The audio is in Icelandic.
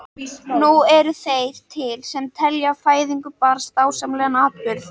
Nú eru þeir til sem telja fæðingu barns dásamlegan atburð.